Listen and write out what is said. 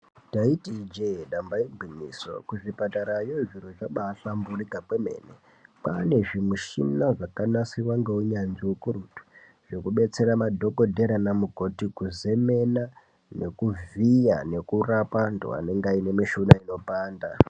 Ndaiti ijee ndamba igwinyiso kuzvipatara yoo zviro zvabafamburika kwemene. Kwane zvimishina zvakanasirwa ngeunanzvi wekurutu zvekubetseradhokodhera namukoti kuzemena nekuvhiya nekurapa antu anenge mishuna inopanda.